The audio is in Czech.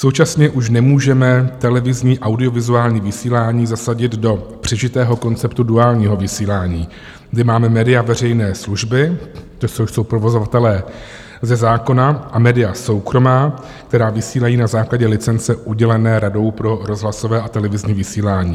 Současně už nemůžeme televizní audiovizuální vysílání zasadit do přežitého konceptu duálního vysílání, kdy máme média veřejné služby, což jsou provozovatelé ze zákona, a média soukromá, která vysílají na základě licence udělené Radou pro rozhlasové a televizní vysílání.